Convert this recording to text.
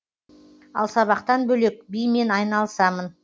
ал сабақтан бөлек бимен айналысамын